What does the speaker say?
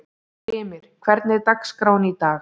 Brimir, hvernig er dagskráin í dag?